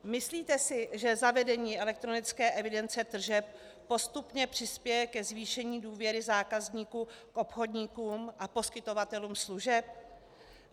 Myslíte si, že zavedení elektronické evidence tržeb postupně přispěje ke zvýšení důvěry zákazníků k obchodníkům a poskytovatelům služeb?